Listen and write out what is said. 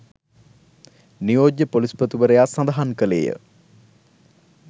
නියෝජ්‍ය පොලිස්පතිවරයා සඳහන් කළේය.